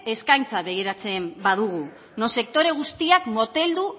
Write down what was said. eskaintza begiratzen badugu non sektore guztiak moteldu